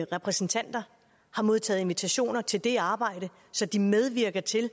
repræsentanter har modtaget invitationer til det arbejde så de medvirker til at